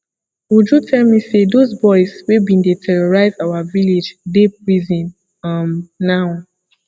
uju tell me say those boys wey bin dey terrorize our village dey prison um now